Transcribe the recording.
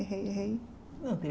Errei, errei Não